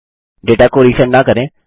data को resend न करें